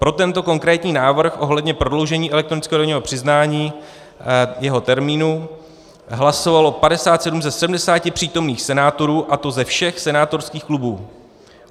Pro tento konkrétní návrh ohledně prodloužení elektronického daňového přiznání, jeho termínu, hlasovalo 57 ze 70 přítomných senátorů, a to ze všech senátorských klubů.